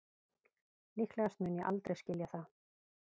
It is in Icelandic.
Líklegast mun ég aldrei skilja það